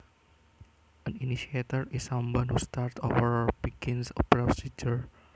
An initiator is someone who starts or begins a procedure